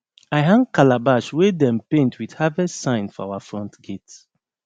i hang calabash wey dem paint with harvest sign for our front gate